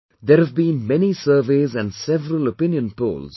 There have been many surveys and several opinion polls